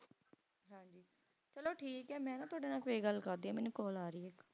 ਚਲੋ ਠੀਕ ਆ ਮੈਂ ਨਾ ਤੁਹਾਡੇ ਨਾਲ ਫੇਰ ਗੱਲ ਕਰਦੀ ਆ ਮੈਨੂੰ call ਆ ਰਹੀ ਆ